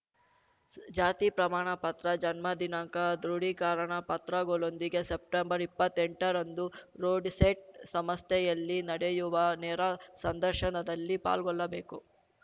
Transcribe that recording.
ಜಾತಿ ಪ್ರಮಾಣ ಪತ್ರ ಜನ್ಮದಿನಾಂಕ ದೃಢೀಕರಣ ಪತ್ರಗಳೊಂದಿಗೆ ಸೆಪ್ಟೆಂಬರ್ಇಪ್ಪತ್ತೆಂಟರಂದು ರುಡ್‌ಸೆಟ್‌ ಸಮಸ್ಥೆಯಲ್ಲಿ ನಡೆಯುವ ನೇರ ಸಂದರ್ಶನದಲ್ಲಿ ಪಾಲ್ಗೊಳ್ಳಬೇಕು